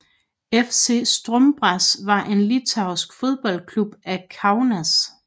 FC Stumbras var en litauisk fodboldklub fra Kaunas